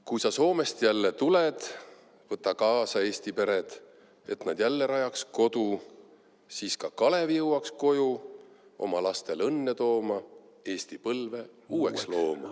Kui sa Soomest jälle tuled, võta kaasa eesti pered, et nad jälle rajaks kodu, siis ka Kalev jõuaks koju oma lastel õnne tooma, Eesti põlve uueks looma.